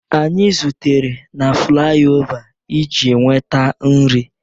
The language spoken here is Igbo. Anyị zutere na flaiova iji nweta nri.